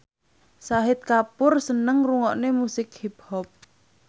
Shahid Kapoor seneng ngrungokne musik hip hop